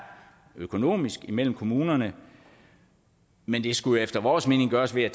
økonomisk imellem kommunerne men det skulle efter vores mening gøres ved at